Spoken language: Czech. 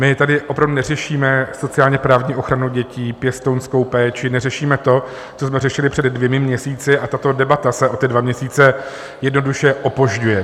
My tady opravdu neřešíme sociálně-právní ochranu dětí, pěstounskou péči, neřešíme to, co jsme řešili před dvěma měsíci, a tato debata se o ty dva měsíce jednoduše opožďuje.